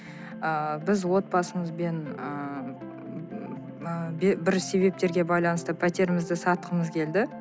ы біз отбасымызбен ы бір себептерге байланысты пәтерімізді сатқымыз келді